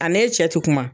A n'e cɛ ti kuma